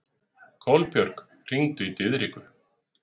Kolbjörg, hringdu í Diðriku.